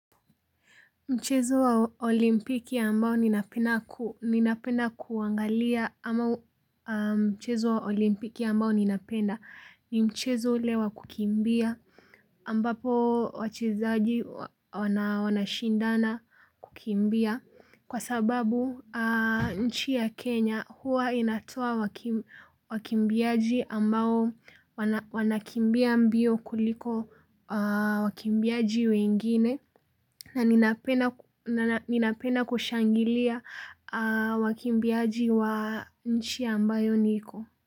Mchezo wa olimpiki ambao ninapenda kuangalia ama mchezo wa olimpiki ambao ninapenda ni mchezo ule wa kukimbia ambapo wachezaji wanashindana kukimbia kwa sababu nchi ya Kenya huwa inatoa wakimbiaji ambao wanakimbia mbio kuliko wakimbiaji wengine na ninapenda kushangilia wakimbiaji wa nchi ambayo.